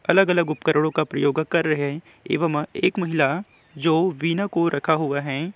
अलग-अलग उपकरणों का प्रयोग कर रहें हैं एवं एक महिला जो वीणा को रखा हुआ है।